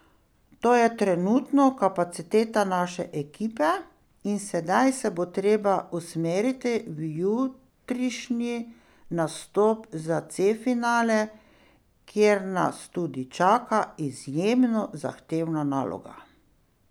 To je trenutno kapaciteta naše ekipe in sedaj se bo treba usmeriti v jutrišnji nastop za C finale, kjer nas tudi čaka izjemno zahtevna naloga.